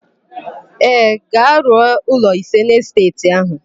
Ee, ga-arụ ụlọ ise n'esteeti áhụ̀.